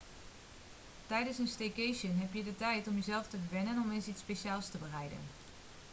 tijdens een staycation heb je de tijd om jezelf te verwennen en om eens iets speciaals te bereiden